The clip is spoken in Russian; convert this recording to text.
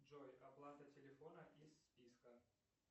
джой оплата телефона из списка